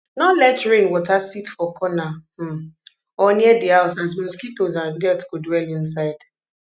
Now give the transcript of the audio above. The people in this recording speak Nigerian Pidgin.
nor let rain water sit for corner um or near di house as mosquitoes and dirt go dwell inside